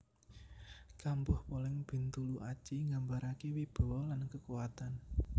Kampuh Poleng Bintuluaji nggambarake wibawa lan kekuatan